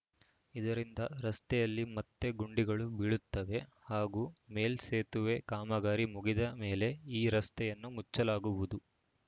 ಇದರಿಂದ ರಸ್ತೆಯಲ್ಲಿ ಮತ್ತೆ ಗುಂಡಿಗಳು ಬೀಳುತ್ತವೆ ಹಾಗೂ ಮೇಲ್‌ ಸೇತುವೆ ಕಾಮಗಾರಿ ಮುಗಿದ ಮೇಲೆ ಈ ರಸ್ತೆಯನ್ನು ಮುಚ್ಚಲಾಗುವುದು